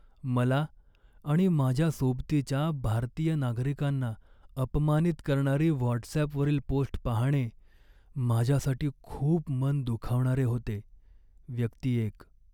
मला आणि माझ्या सोबतीच्या भारतीय नागरिकांना अपमानित करणारी व्हॉटसॲपवरील पोस्ट पाहणे माझ्यासाठी खूप मन दुखावणारे होते. व्यक्ती एक